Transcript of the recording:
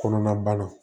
Kɔnɔna bana